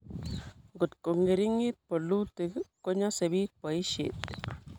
ngot ko ng'eringit bolutik ko nyosei biik boisiet